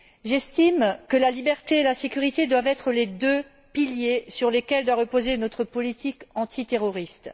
J'estime que la liberté et la sécurité doivent être les deux piliers sur lesquels doit reposer notre politique antiterroriste.